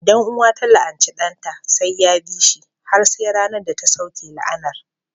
Idan uwa ta la'anci ɗanta, sai ya bi shi har sai ranar da ta sauke la'anar